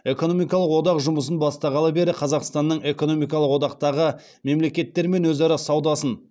экономикалық одақ жұмысын бастағалы бері қазақстанның экономикалық одақтағы мемлекеттермен өзара саудасын